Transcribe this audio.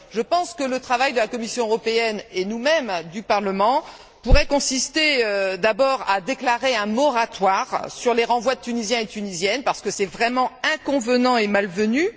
Je pense que le travail de la Commission européenne, et du Parlement, pourrait consister d'abord à déclarer un moratoire sur les renvois de Tunisiens et de Tunisiennes parce que c'est vraiment inconvenant et malvenu.